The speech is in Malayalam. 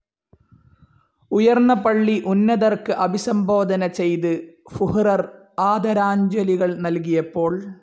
ഉയർന്ന പള്ളി ഉന്നതർക്ക് അഭിസംബോധന ചെയ്ത് ഫുഹ്റെർ ആദരാഞ്ജലികൾ നൽകിയപ്പോൾ.